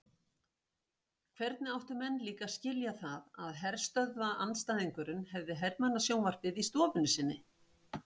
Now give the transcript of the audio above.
Hvernig áttu menn líka að skilja það að herstöðvaandstæðingurinn hafði hermannasjónvarpið í stofunni sinni?